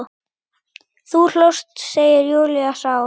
Þú hlóst, segir Júlía sár.